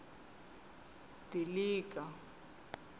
dilika